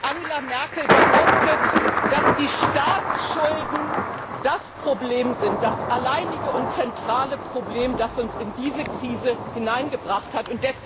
Angela Merkel behauptet, dass die Staatsschulden das Problem sind das alleinige und zentrale Problem, das uns in diese Krise hineingebracht hat.